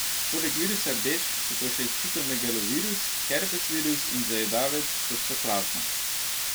Poleg virusa rdečk so to še citomegalovirus, herpes virus in zajedavec toksoplazma.